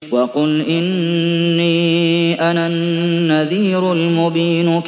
وَقُلْ إِنِّي أَنَا النَّذِيرُ الْمُبِينُ